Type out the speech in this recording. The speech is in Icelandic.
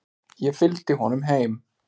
Ég fylgdi honum heim.